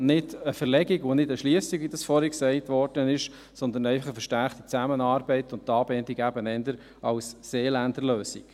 nicht eine Verlegung und nicht eine Schliessung, wie vorhin gesagt wurde, sondern einfach eine verstärkte Zusammenarbeit und die Anbindung, eben eher als Seeländer Lösung.